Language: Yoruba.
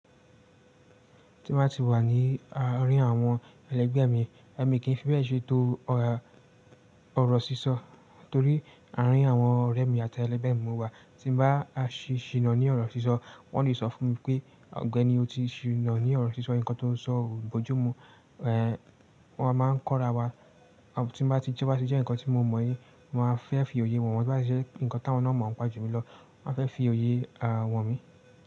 Tí mo bá ti wà ní àárín àwọn ẹlẹ́gbẹ̀ mi, ẹmi kí ń fi bẹ́ẹ̀ ṣe to ọrọ̀ sísọ. Torí àárín àwọn ọ̀rẹ́ mi àti ẹlẹ́gbẹ̀ mi mo wà tí ń bá a ṣì ṣì nà ní ọ̀rọ̀ sísọ wọ́n le so fún mi pé ọ̀gbẹ́ni o ti ṣì nà ní ọ̀rọ̀ sísọ nǹkan tó ń sọ ò gbójú mu. Ehn, wọ́n máa ń kóra wa tí bá ṣi jẹ́ ǹkan tí mo mọ ni mo máa fẹ́ fi òye wọ̀n wọ́n tío bá ṣi jẹ́ ǹkan táwọn náà mọ̀ ń pa jú mi lọ won a fẹ́ fi òye wọ̀n mi.